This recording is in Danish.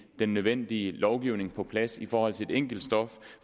den nødvendige lovgivning på plads i forhold til et enkelt stof